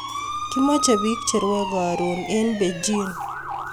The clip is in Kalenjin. Kimache pik che rwae karun en Bejin